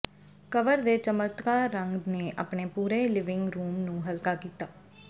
cover ਦੇ ਚਮਕਦਾਰ ਰੰਗ ਨੇ ਆਪਣੇ ਪੂਰੇ ਲਿਵਿੰਗ ਰੂਮ ਨੂੰ ਹਲਕਾ ਕੀਤਾ